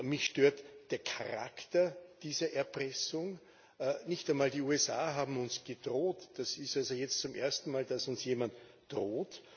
Mich stört der Charakter dieser Erpressung. Nicht einmal die USA haben uns gedroht. Das ist jetzt das erste Mal, dass uns jemand droht.